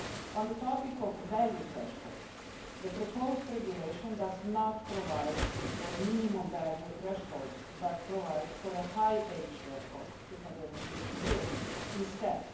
On the topic of value thresholds, the proposed regulation does not provide for minimum value thresholds, but provides for a high age threshold of 250 years instead.